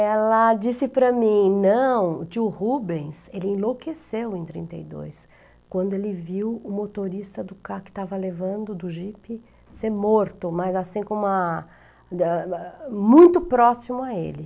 Ela disse para mim, não, tio Rubens, ele enlouqueceu em trinta e dois, quando ele viu o motorista do carro que estava levando do jipe ser morto, mas assim como a... muito próximo a ele.